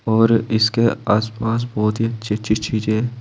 और इसके आस पास बहुत ही अच्छी अच्छी चीज है